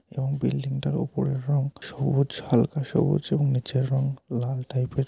এবং বিল্ডিংটার ওপরের রং সবুজ হালকা সবুজ এবং নিচের রং লাল টাইপের ।